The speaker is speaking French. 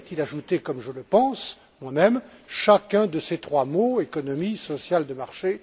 Il a ajouté, comme je le pense, on aime chacun de ces trois mots économie sociale de marché